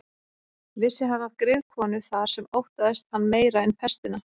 Vissi hann af griðkonu þar sem óttaðist hann meira en pestina.